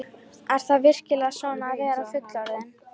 Er það virkilega svona að vera fullorðinn?